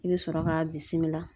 I bɛ sɔrɔ k'a bisimila.